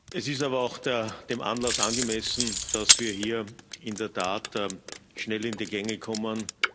Es ist aber auch dem Anlass angemessen, dass wir hier in der Tat schnell in die Gänge kommen.